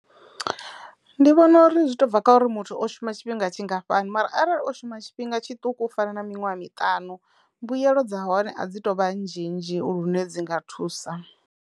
Ndi vhona uri zwi to bva kha uri muthu o shuma tshifhinga tshingafhani mara arali o shuma tshifhinga tshiṱuku u fana na miṅwaha miṱanu mbuyelo dza hone a dzi to vha nzhinzhi lune dzi nga thusa.